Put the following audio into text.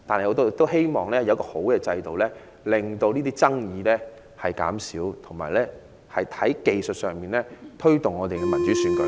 我們希望有一個好制度，令爭議減少，同時在技術上改進，推動民主選舉。